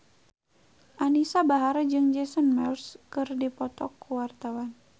Anisa Bahar jeung Jason Mraz keur dipoto ku wartawan